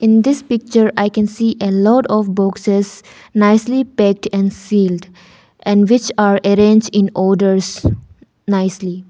in this picture I can see a lot of boxes nicely packed and sealed and which are arrange in orders nicely.